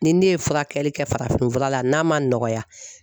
Ni ne ye furakɛli kɛ farafin fura la n'a man nɔgɔya